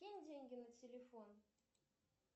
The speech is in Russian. кинь деньги на телефон